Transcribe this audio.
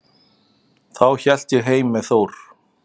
Þá hélt ég heim með Þór.